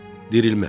Dirilmə.